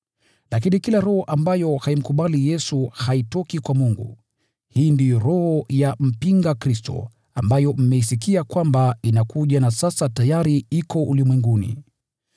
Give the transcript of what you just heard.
Lakini kila roho ambayo haimkubali Yesu haitoki kwa Mungu. Hii ndiyo roho ya mpinga Kristo, ambayo mmesikia kwamba inakuja na sasa tayari iko ulimwenguni.